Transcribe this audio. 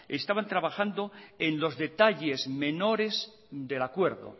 estaban trabajando en los detalles menores del acuerdo